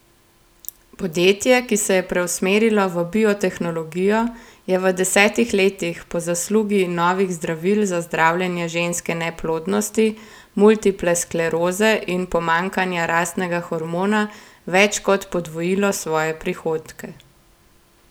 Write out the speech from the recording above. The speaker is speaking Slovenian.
Podjetje, ki se je preusmerilo v biotehnologijo, je v desetih letih po zaslugi novih zdravil za zdravljenje ženske neplodnosti, multiple skleroze in pomanjkanja rastnega hormona več kot podvojilo svoje prihodke.